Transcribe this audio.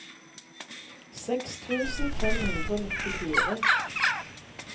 seks tusen fem hundre og nittifire